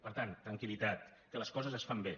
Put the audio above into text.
per tant tranquil·litat que les coses es fan bé